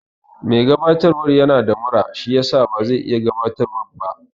Mai gabatarwan yana da mura shiyasa bazai iya gabatarwan ba yau